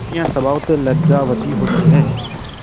स्त्रियॉँ स्वभावतः लज्जावती होती हैं